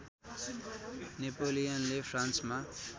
नेपोलियनले फ्रान्समा